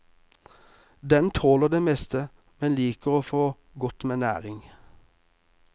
Den tåler det meste, men liker å få godt med næring.